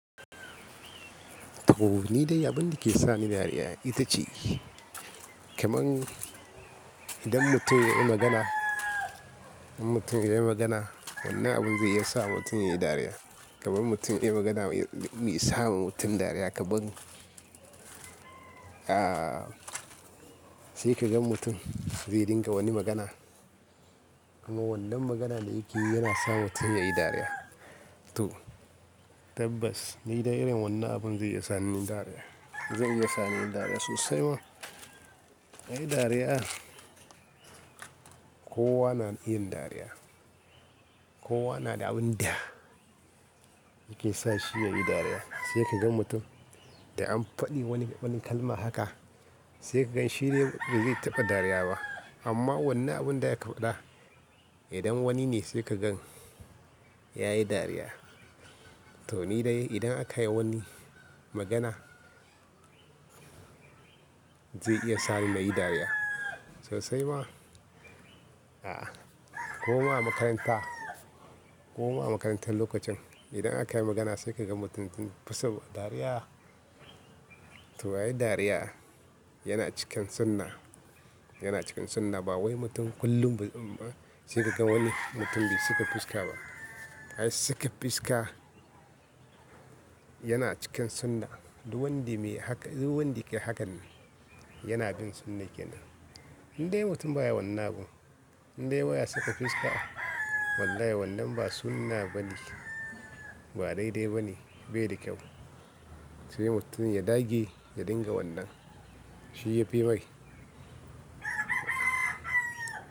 To, ni dai abin da ke sa ni dariya ita ce, kamar idan mutum ya yi magana, idan mutum ya yi magana wannan abin zai iya sa mutum ya yi dariya. Kamar mutum ya yi magana mai sa mutum dariya kamar, a, sai ka gan mutum zai dinga wani magana. Amma wannan maganan da yake yi yana sa mutum ya yi dariya. To tabbas ni dai irin wannan abun zai iya sa ni dariya, zai iya sa ni dariya sosai ma. A yi dariya, kowa na yin dariya. Kowa na da abin da yake sa shi ya yi dariya. Sai ka gan mutum da an faɗi wani kalma haka, sai ka gan shi ne bai taɓa dariya ba. Amma wannan abun da ya kafaɗa, idan wani ne sai ka gan ya yi dariya. To ni dai idan aka yi wani magana zai iya sa ni nayi dariya sosai ma. A, koma a makaranta, koma a makarantar lokacin idan aka yi magana sai ka gan mutum fasawa dariya. To a yi dariya yana cikin sunna, yana cikin sunna ba wai mutum kullum sai ka gan wani mutum bai saka fuska ba. Ai saka fuska yana cikin sunna. Duk wanda yake hakan Yanabin sunna kenan. Indai mutum baya wannan abun indai baya saka fuska to wallahi wannan ba sunna bane, ba daidai bane bai da kyau sai mutum ya dage ya dinga wannan shi yafimai.